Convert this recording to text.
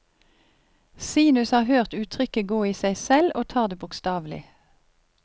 Sinus har hørt uttrykket gå i seg selv og tar det bokstavelig.